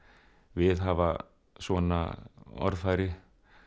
viðhafa svona orðfæri